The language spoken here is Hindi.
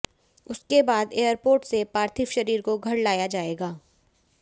उसके बाद एयरपोर्ट से पार्थिव शरीर को घर लाया जाएगा